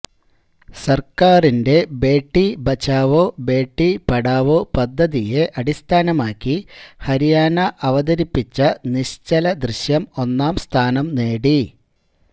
സര്ക്കാരിന്റെ ബേഠി ബച്ചാവോ ബേഠി പഠാവോ പദ്ധതിയെ അടിസ്ഥാനമാക്കി ഹരിയാണ അവതരിപ്പിച്ച നിശ്ചലദൃശ്യം ഒന്നാം സ്ഥാനംനേടി